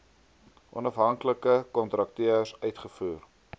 onafhanklike kontrakteurs uitgevoer